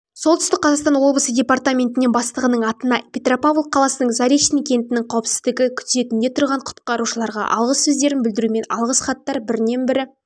солтүстік қазақстан облысы департаментіне бастығының атына петропавл қаласының заречный кентінің қауіпсіздігі күзетінде тұрған құтқарушыларға алғыс сөздерін білдірумен алғыс хаттар бірінен-бірі